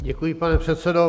Děkuji, pane předsedo.